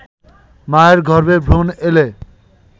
মায়ের গর্ভে ভ্রুণ এলে